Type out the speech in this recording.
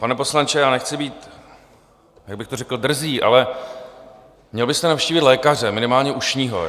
Pane poslanče, já nechci být, jak bych to řekl, drzý, ale měl byste navštívit lékaře, minimálně ušního.